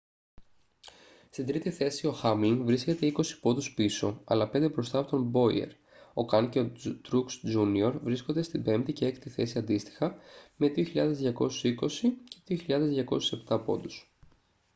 στην τρίτη θέση ο χάμλιν βρίσκεται είκοσι πόντους πίσω αλλά πέντε μπροστά από τον μπόιερ ο καν και ο τρουξ τζούνιορ βρίσκονται στην πέμπτη και έκτη θέση αντίστοιχα με 2.220 και 2.207 πόντους